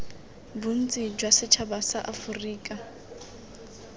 bontsi jwa setšhaba sa aforika